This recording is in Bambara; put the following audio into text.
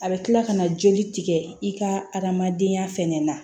A bɛ kila ka na joli tigɛ i ka adamadenya fɛnɛ na